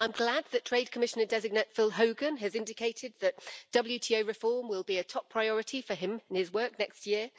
I'm glad that Trade Commissioner-designate Phil Hogan has indicated that WTO reform will be a top priority for him in his work next year.